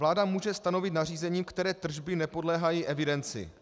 Vláda může stanovit nařízením, které tržby nepodléhají evidenci.